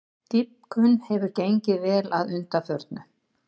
Dýpkun hefur gengið vel að undanförnu